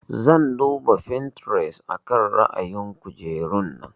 Zan duba Pinterest akan ra'ayin kujerun nan.